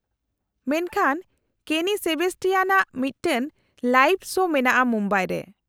-ᱢᱮᱱᱠᱷᱟᱱ ᱠᱮᱱᱤ ᱥᱮᱵᱮᱥᱴᱤᱭᱟᱱᱟᱜ ᱢᱤᱫᱴᱟᱝ ᱞᱟᱭᱤᱵᱷ ᱥᱳ ᱢᱮᱱᱟᱜᱼᱟ ᱢᱩᱢᱵᱟᱭ ᱨᱮ ᱾